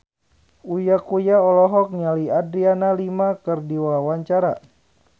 Uya Kuya olohok ningali Adriana Lima keur diwawancara